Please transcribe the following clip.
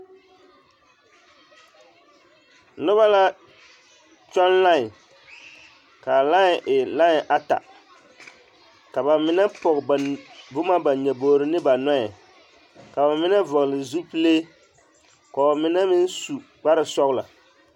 Noba la kyɔŋ lãɛ k'a lãɛ e lãɛ ata ka bamine pɔge boma ba nyobogiri ne ba nɔɛ ka bamine vɔgele zupile k'o mine meŋ su kpare sɔgelɔ.